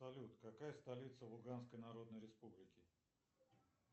салют какая столица луганской народной республики